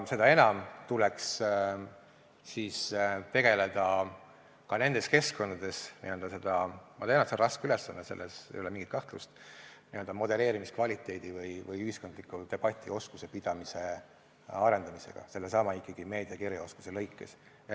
Seda enam tuleks tegeleda ka nendes keskkondades – ma tean, et see on raske ülesanne, selles ei ole mingit kahtlust – n-ö modelleerimiskvaliteedi või ühiskondliku debati pidamise oskuse arendamisega sellesama meediakirjaoskuse mõttes.